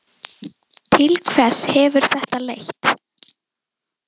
Til hvers hefur þetta leitt?